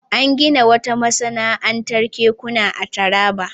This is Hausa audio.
An gina wata masana'antar kekuna a Taraba.